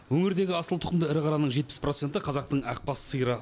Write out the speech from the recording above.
өңірдегі асыл тұқымды ірі қараның жетпіс проценті қазақтың ақбас сиыры